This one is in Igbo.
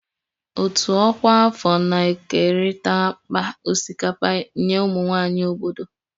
Òtù ọkwa afọ na-ekerịta akpa osikapa nye ụmụ nwanyị obodo